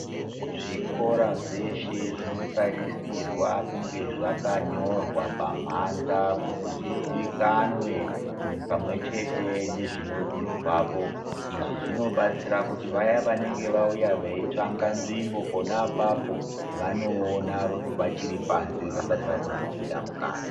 Zvikora zveshe zvinotarisirwa kunga zvakanyorwa pamhanza kuti zviziyikanwe pamwechete ngezvinodzidzwapo izvi zvinobatsira kuti vaya vanenge vauya veitsvaga nzvimbo ponapapo vanoona vachiri panze vasati vatombopinda mukati .